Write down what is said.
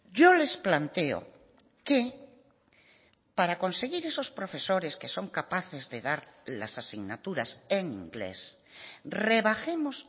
yo les planteo que para conseguir esos profesores que son capaces de dar las asignaturas en inglés rebajemos